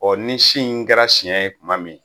Ɔ ni si in kɛra siɲɛ ye tuma min